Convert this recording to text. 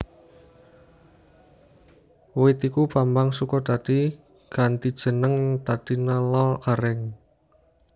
Wit iku Bambang Sukodadi ganti jeneng dadi Nala Garèng